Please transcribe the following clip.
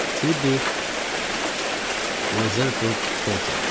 Fibi Uzerfield Kolfild.